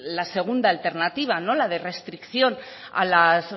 la segunda alternativa la de restricción a las